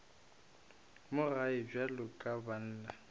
mo gae bjalo ka banna